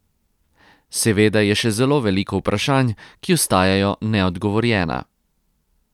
Seveda je še zelo veliko vprašanj, ki ostajajo neodgovorjena.